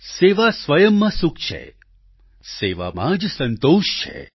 સેવા સ્વયં માં સુખ છે સેવામાં જ સંતોષ છે